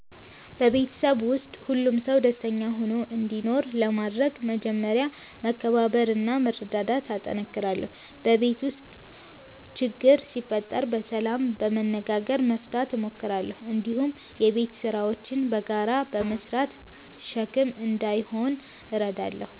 በቤተሰቤ ውስጥ ሁሉም ሰው ደስተኛ ሆኖ እንዲኖር ለማድረግ መጀመሪያ መከባበርና መረዳዳት እጠነክራለሁ። በቤት ውስጥ ችግር ሲፈጠር በሰላም በመነጋገር መፍታት እሞክራለሁ። እንዲሁም የቤት ስራዎችን በጋራ በመስራት ሸክም እንዳይሆን እረዳለሁ።